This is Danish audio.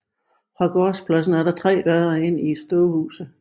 Fra gårdspladsen er der tre døre ind til stuehuset